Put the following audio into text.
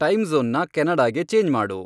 ಟೈಮ್ಜ಼ೋನ್ನ ಕೆನಡಾಗೆ ಚೇಂಜ್ ಮಾಡು